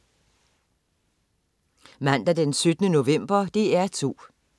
Mandag den 17. november - DR2: